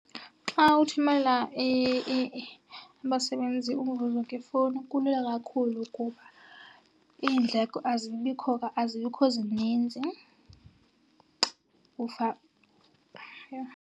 Xa uthumela abasebenzi umvuzo ngefowuni kulula kakhulu kuba iindleko azibikho , azibikho zininzi. Yho.